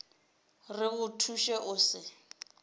re go thuše o se